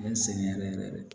Bɛ n sɛgɛn yɛrɛ yɛrɛ de